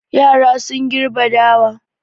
Yara sun gerbe dawa.